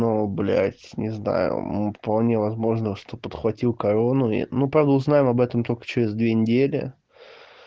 ну блять не знаю вполне возможно что подхватил корону ну правда узнаем об этом только через две недели